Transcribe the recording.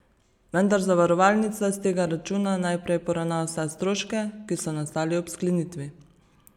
Vendar zavarovalnica s tega računa najprej poravna vse stroške, ki so nastali ob sklenitvi.